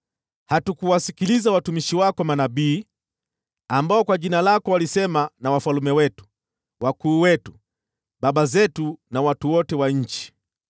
Hatukuwasikiliza watumishi wako manabii, ambao kwa jina lako walisema na wafalme wetu, wakuu wetu, baba zetu, na watu wote wa nchi.